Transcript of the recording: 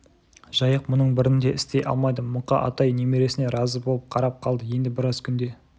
жайық мұның бірін де істей алмайды мұқа атай немересіне разы болып қарап қалды енді біраз күнде